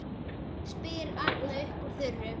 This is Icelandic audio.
spyr Arnar upp úr þurru.